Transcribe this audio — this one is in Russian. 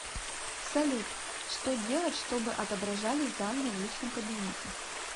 салют что делать чтобы отображались данные в личном кабинете